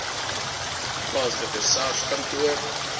plaaslike sars kantoor